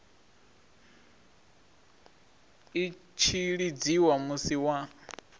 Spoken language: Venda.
i tshi lidziwa musi wa